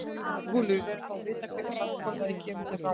SKÚLI: Við verðum þó að vita hvenær samkomulagið kemur til framkvæmda.